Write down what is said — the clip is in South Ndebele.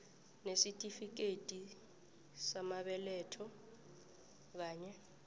nesitifikethi samabeletho kanye